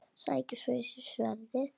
Sækir svo í sig veðrið.